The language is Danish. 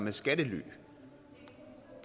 er skattely